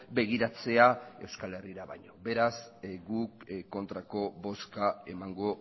begiratzea euskal herrira baino beraz guk kontrako bozka emango